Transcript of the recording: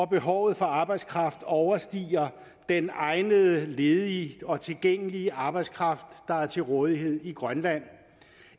behovet for arbejdskraft overstiger den egnede ledige og tilgængelige arbejdskraft der er til rådighed i grønland